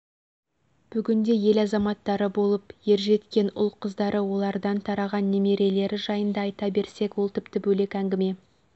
бүгінде ел азаматтары болып ер жеткен ұл-қыздары олардан тараған немерелері жайында айта берсек ол тіпті бөлек әңгіме